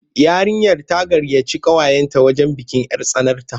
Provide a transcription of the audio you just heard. Yarinyar ta gayyaci ƙawayenta wajen bikin 'yar tsanarta.